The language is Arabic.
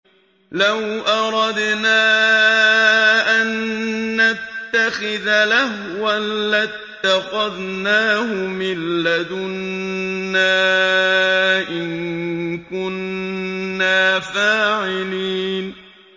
لَوْ أَرَدْنَا أَن نَّتَّخِذَ لَهْوًا لَّاتَّخَذْنَاهُ مِن لَّدُنَّا إِن كُنَّا فَاعِلِينَ